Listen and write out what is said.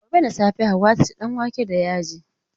Gobe da safe Hauwa za ta ci danwake da yaji.